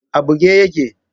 A buge yake?